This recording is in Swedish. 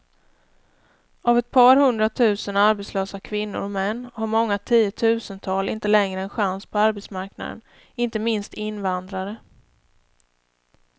Av ett par hundratusen arbetslösa kvinnor och män har många tiotusental inte längre en chans på arbetsmarknaden, inte minst invandrare.